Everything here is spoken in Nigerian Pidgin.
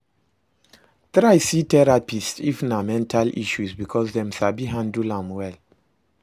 Try see therapist if na mental issues because dem sabi handle am well